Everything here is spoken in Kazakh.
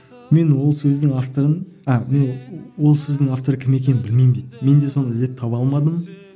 мен ол сөздің авторын а мен ол сөздің авторы кім екенін білмеймін дейді мен де соны іздеп таба алмадым